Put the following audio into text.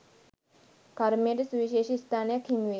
කර්මයට සුවිශේෂි ස්ථානයක් හිමිවෙයි.